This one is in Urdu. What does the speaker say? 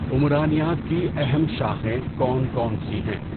عمرانیات کی اہم شاخیں کون کون سی ہیں؟